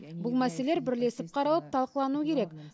бұл мәселелер бірлесіп қаралып талқылануы керек